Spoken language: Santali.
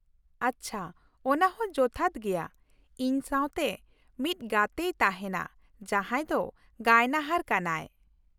ᱟᱪᱪᱷᱟ, ᱚᱱᱟ ᱦᱚᱸ ᱡᱚᱛᱷᱟᱛ ᱜᱮᱭᱟ ᱾ ᱤᱧ ᱥᱟᱶᱛᱮ ᱢᱤᱫ ᱜᱟᱛᱮᱭ ᱛᱟᱦᱮᱱᱟ ᱡᱟᱦᱟᱸᱭ ᱫᱚ ᱜᱟᱭᱱᱟᱦᱟᱨ ᱠᱟᱱᱟᱭ ᱾